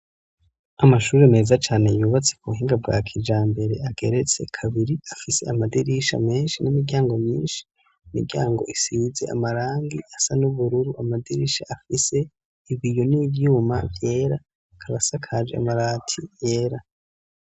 Amashure meza cane yubatse ku buhinga bwa kijambere ageretse kabiri, afise amadirisha menshi n'imiryango myinshi, imiryango isize amarangi asa n'ubururu, amadirisha afise ibiyo n'ivyuma vyera, akaba asakaje amabati yera.